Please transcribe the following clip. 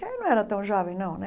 Ele não era tão jovem, não né.